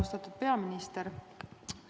Austatud peaminister!